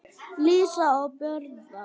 Lísa og Böðvar.